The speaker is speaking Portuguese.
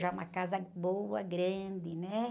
Já uma casa boa, grande, né?